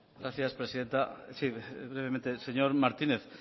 gracias presidenta sí brevemente señor martínez